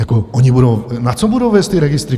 Jako oni budou, na co budou vést ty registry?